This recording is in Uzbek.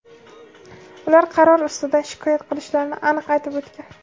ular qaror ustidan shikoyat qilishlarini aniq aytib o‘tgan.